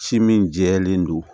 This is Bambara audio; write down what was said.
Ci min jɛlen don